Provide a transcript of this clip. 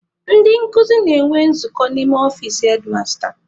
Ndị nkuzi na-enwe nzukọ n'ime ọfici hedmasta.